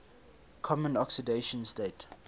common oxidation state